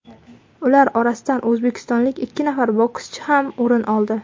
Ular orasidan o‘zbekistonlik ikki nafar bokschi ham o‘rin oldi.